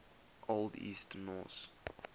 old east norse